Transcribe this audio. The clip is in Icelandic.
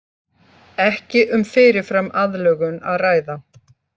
Ekki um fyrirfram aðlögun að ræða